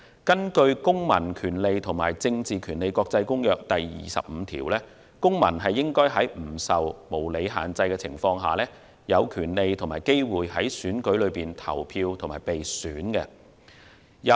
根據《公民權利和政治權利國際公約》第二十五條，公民應在不受無理限制下，有權利和機會在選舉中投票及被選。